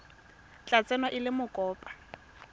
tla tsewa e le mokopa